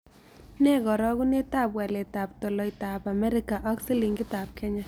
Nee karogunetap waletap tolaitap amerika ak silingiitap kenya